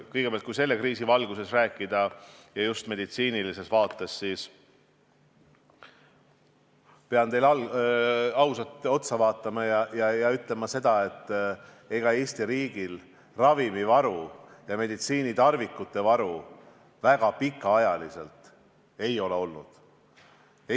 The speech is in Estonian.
Kõigepealt, kui selle kriisi valguses rääkida just meditsiinilises vaates, siis pean teile ausalt otsa vaatama ja ütlema, et ega Eesti riigil ravimivaru ja meditsiinitarvikute varu väga pikaks ajaks ei ole olnud.